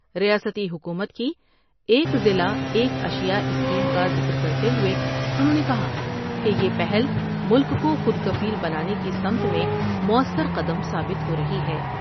ریاستی حکومت کی ایک ضلع ایک اشیاء اسکیم کا ذکر کرتے ہوۓ انہوں نے کہا کہ یہ پہل ملک کوخودکفیل بنانے کی سمت میں موثر قدم ثابت ہورہی ہے ۔